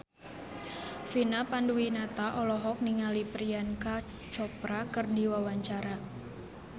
Vina Panduwinata olohok ningali Priyanka Chopra keur diwawancara